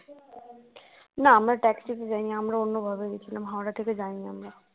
না আমরা taxi তে যাইনি আমরা অন্যভাবে গেছিলাম হাওড়া থেকে যায়নি আমরা